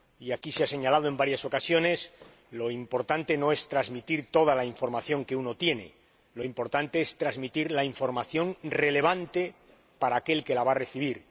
Aquí se ha señalado en varias ocasiones lo importante no es transmitir toda la información que uno tiene, lo importante es transmitir la información relevante para aquel que la va a recibir.